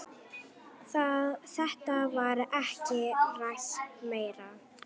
Þetta var ekki rætt meir.